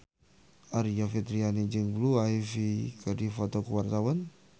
Aryani Fitriana jeung Blue Ivy keur dipoto ku wartawan